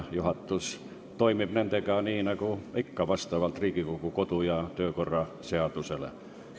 Juhatus toimib nendega, nii nagu ikka, Riigikogu kodu- ja töökorra seaduse alusel.